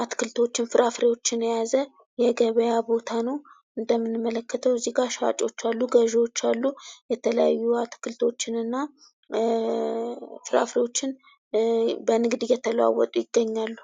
አትክልቶን ፍራፍሬዎችን የያዘ የገበያ ቦታ ነው። እንደምንመለከተው እዚጋ ሻጮች አሉ ገዥዎች አሉ። የተለያዩ አትክልቶችንና ፍራፍሬዎችን በንግድ እየተለዋወጡ ይገኛሉ።